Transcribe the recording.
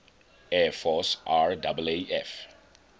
air force raaf